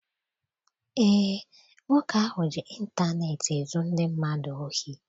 Eé, nwoke ahụ ji intaneeti ezu ndị mmadụ ohi.